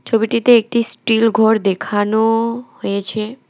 ছবিটিতে একটি স্টিল ঘর দেখানো হয়েছে।